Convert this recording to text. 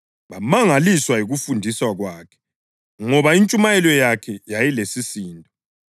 Bamangaliswa yikufundisa kwakhe ngoba intshumayelo yakhe yayilesisindo.